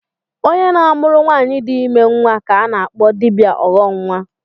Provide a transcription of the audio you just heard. Onye na-amụrụ nwaanyị di ime nnwa ka a na-akpọ dibịa ọghọnnwa